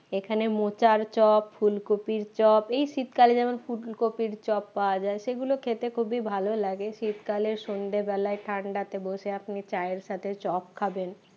এখানে মোচার চপ ফুলকপির চপ এই শীতকালে যেমন ফুলকপির চপ পাওয়া যায় সেগুলো খেতে খুবই ভালো লাগে শীতকালে সন্ধ্যেবেলায় ঠান্ডাতে বসে আপনি চায়ের সাথে চপ খাবেন